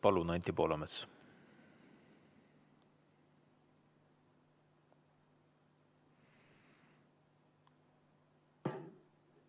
Palun, Anti Poolamets!